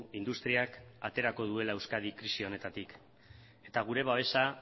industriak aterako duela euskadi krisi honetatik eta gure babesa